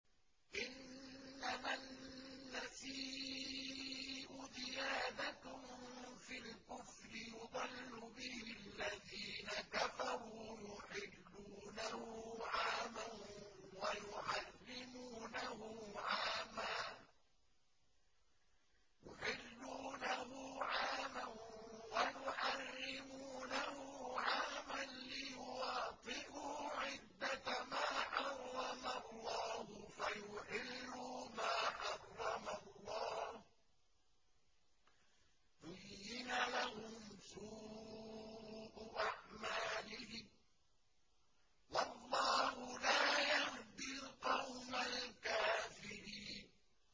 إِنَّمَا النَّسِيءُ زِيَادَةٌ فِي الْكُفْرِ ۖ يُضَلُّ بِهِ الَّذِينَ كَفَرُوا يُحِلُّونَهُ عَامًا وَيُحَرِّمُونَهُ عَامًا لِّيُوَاطِئُوا عِدَّةَ مَا حَرَّمَ اللَّهُ فَيُحِلُّوا مَا حَرَّمَ اللَّهُ ۚ زُيِّنَ لَهُمْ سُوءُ أَعْمَالِهِمْ ۗ وَاللَّهُ لَا يَهْدِي الْقَوْمَ الْكَافِرِينَ